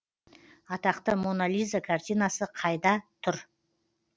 атақты мона лиза картинасы қайта тұр